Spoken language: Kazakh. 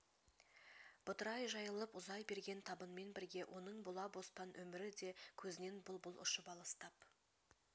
бытырай жайылып ұзай берген табынмен бірге оның бұла бостан өмірі де көзінен бұл-бұл ұшып алыстап